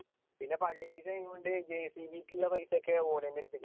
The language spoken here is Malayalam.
പിന്നെ പള്ളി പൈസ കൊണ്ട് jcb ക്ക് ഉള്ള പൈസയൊക്കെ ഓല് എന്നെ എടുത്ത്